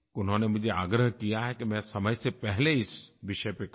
उन्होंने मुझे आग्रह किया है कि मैं समय से पहले इस विषय पर कहूँ